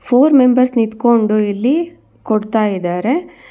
Four members ನಿತ್ಕೊಂಡು ಇಲ್ಲಿ ಕೊಡ್ತಾ ಇದ್ದಾರೆ.